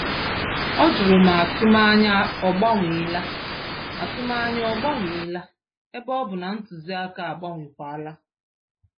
Ọ jụrụ ma atụmanya ọ gbanwela, atụmanya ọ gbanwela, ebe ọbu na ntụziaka agbanwekwala